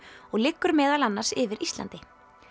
og liggur meðal annars yfir Íslandi